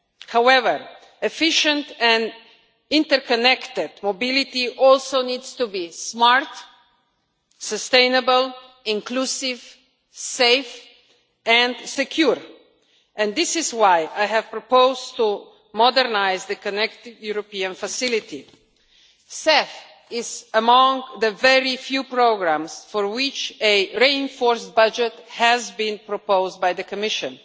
However, efficient and interconnected mobility also needs to be smart, sustainable, inclusive, safe and secure. This is why I have proposed to modernise the Connecting European Facility. CEF is among the very few programmes for which a reinforced budget has been proposed by the Commission.